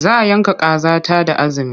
Za yanka kaza ta da azumi.